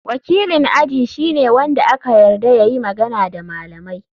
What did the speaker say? Wakilin aji shine wanda aka yarda ya yi magana da malamai.